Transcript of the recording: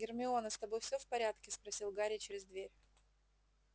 гермиона с тобой всё в порядке спросил гарри через дверь